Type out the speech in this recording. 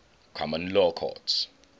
common law courts